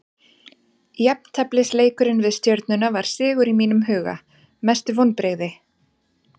Jafnteflisleikurinn við stjörnuna var sigur í mínum huga Mestu vonbrigði?